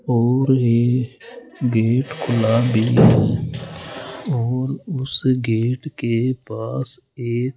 और ये गेट खुला है और उस गेट के पास एक --